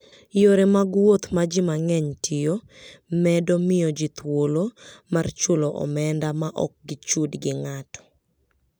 Yore mag wuoth ma ji mang'eny tiyo, medo miyo ji thuolo mar chulo omenda ma ok gichud gi ng'ato.